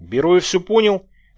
беру и всё понял